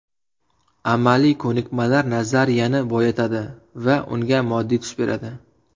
Amaliy ko‘nikmalar nazariyani boyitadi va unga moddiy tus beradi.